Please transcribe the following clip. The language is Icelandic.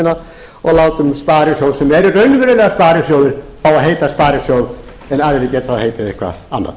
landsmanna og látum sparisjóði sem eru raunverulega sparisjóðir fá að heita sparisjóð en aðrir geta þá heitið eitthvað annað